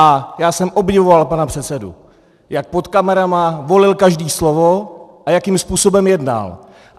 A já jsem obdivoval pana předsedu, jak před kamerami volil každé slovo a jakým způsobem jednal.